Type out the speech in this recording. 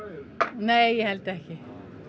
nei ég held ekki